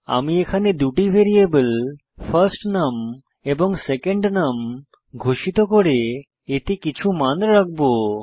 আমি এখানে দুটি ভ্যারিয়েবল ফার্স্টনাম এবং সেকেন্ডনাম ঘোষিত করে এতে কিছু মান রাখব